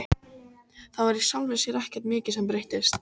Það var í sjálfu sér ekkert mikið sem breyttist.